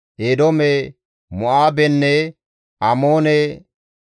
Eedoome, Mo7aabenne Amoone,